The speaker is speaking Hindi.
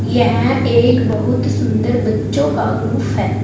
यह एक बहुत सुंदर बच्चों का ग्रुप है।